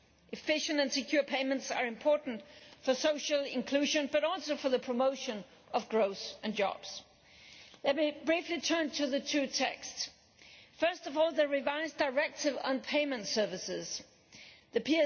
Efficient and secure payments are important for social inclusion but also for the promotion of growth and jobs. Let me now briefly turn to the two texts first of all, the revised Directive on Payment Services This